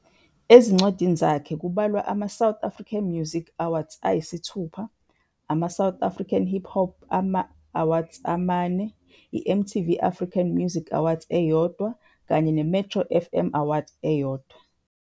Ezincwadini zakhe kubalwa ama- South African Music Awards ayisithupha, ama-South African Hip Hop Awards amane, ama-MTV Africa Music Awards ayi-1, kanye nama-1 Metro FM Awards.